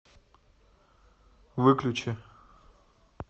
выключи